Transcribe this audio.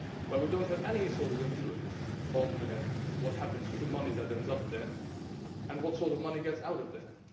We do not have any sort of influence on what happens to money that ends up there or on what sort of money gets out of there.